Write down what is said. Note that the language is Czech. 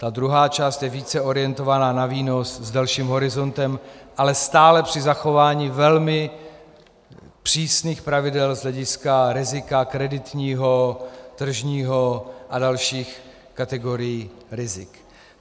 Ta druhá část je více orientovaná na výnos s delším horizontem, ale stále při zachování velmi přísných pravidel z hlediska rizika kreditního, tržního a dalších kategorií rizik.